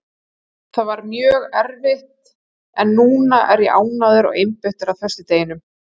Það var mjög erfitt en núna er ég ánægður og einbeittur að föstudeginum.